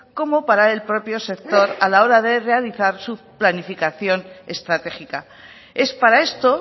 como para el propio sector a la hora de realizar su planificación estratégica es para esto